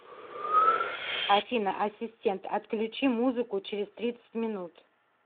афина ассистент отключи музыку через тридцать минут